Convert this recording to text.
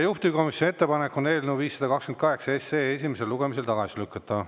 Juhtivkomisjoni ettepanek on eelnõu 528 esimesel lugemisel tagasi lükata.